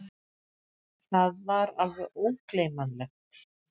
Það var alveg ógleymanlegt!